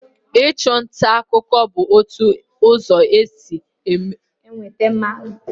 Ịchụ nta akụkụ bụ otu ụzọ e ji enweta ma gbasakwa ozi.